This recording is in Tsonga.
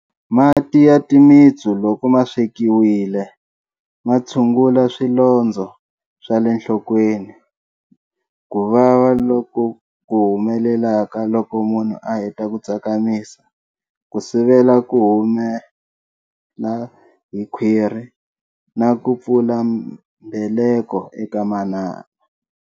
Mati ya timitsu loko ma swekiwile ma tshungula swilondzo swa le nhlokweni, ku vava loku humelelaka loko munhu a heta ku tsakamisa, ku sivela ku humela hi khwirhi na ku pfula mbeleko eka manana.